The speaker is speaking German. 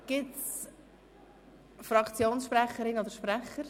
Gibt es Fraktionssprecherinnen oder -sprecher?